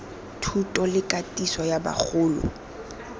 thuto le katiso ya bagolo